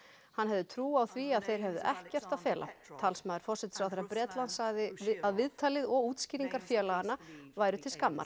hann hefði trú á því að þeir hefðu ekkert að fela talsmaður forsætisráðherra Bretlands sagði að viðtalið og útskýringar félaganna væru til skammar